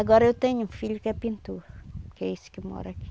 Agora eu tenho um filho que é pintor, que é esse que mora aqui.